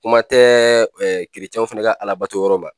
Kuma tɛ keretiyɛnw fɛnɛ ka Alabato yɔrɔ la.